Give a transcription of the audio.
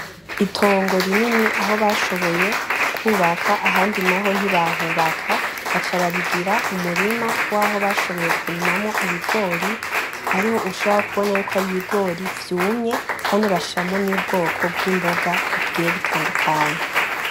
Itongo rinini aho bashoboye kwubaka ahandi naho ntibahubaka baca barigira umurima waho nashoboye kurimamwo ibigori ariho ushobora kubona yuko ari ibigori vyumye kandi bashiramwo n'ubwoko bw'imboga bugiye butandukanye.